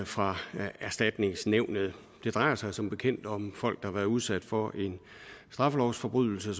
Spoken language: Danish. fra erstatningsnævnet det drejer sig som bekendt om folk der har været udsat for en straffelovsforbrydelse